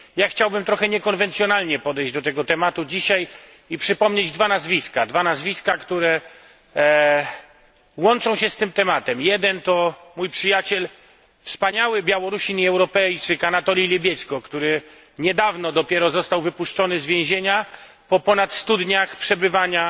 Chciałbym dzisiaj trochę niekonwencjonalnie podejść do tego tematu i przypomnieć dwa nazwiska, które łączą się z tym tematem jeden to mój przyjaciel, wspaniały Białorusin i Europejczyk Anatolij Lebiedźko, który niedawno dopiero został wypuszczony z więzienia po ponad 100 dniach przebywania